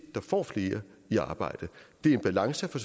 der får flere i arbejde det er en balance for